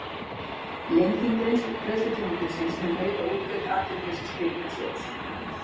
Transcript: Lenging greiðslutímabilsins mun auka útgjöld Atvinnuleysistryggingasjóðs